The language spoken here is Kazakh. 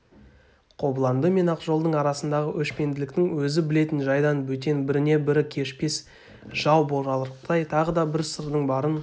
қобыланды мен ақжолдың арасындағы өшпенділіктің өзі білетін жайдан бөтен біріне-бірі кешпес жау боларлықтай тағы да бір сырдың барын